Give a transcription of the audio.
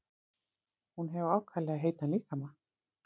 Hún hefur ákaflega heitan líkama.